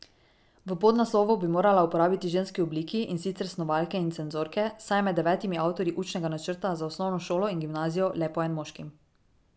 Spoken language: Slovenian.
V podnaslovu bi morala uporabiti ženski obliki, in sicer snovalke in cenzorke, saj je med devetimi avtorji učnega načrta za osnovno šolo in gimnazijo le po en moški.